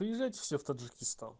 приезжайте все в таджикистан